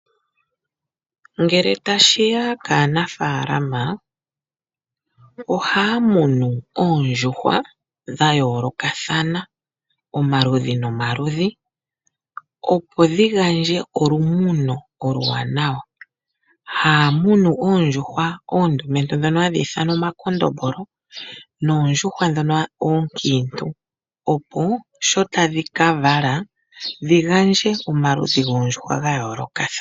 Ngele tashi ya kaanafaalama, ohaya munu oondjuhwa dhayoolokathana omaludhi nomaludhi, opo dhihandje olumuno oluwanawa. Haya munu oondjuhwa oondumentu ndhono hadhi ithanwa omakondombolo noondjuhwa ookiintu opo sho tadhi kavala dhigandje omaludhi goondjuhwa dhayoolokathana.